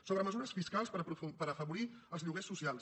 sobre mesures fiscals per afavorir els lloguers socials